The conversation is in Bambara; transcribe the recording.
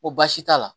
Ko baasi t'a la